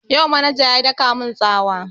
Yau manaja ya daka mun tsawa